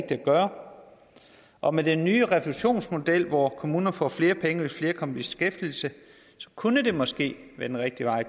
at gøre og med den nye refusionsmodel hvor kommunerne får flere penge hvis flere kommer i beskæftigelse så kunne det måske være den rigtige vej at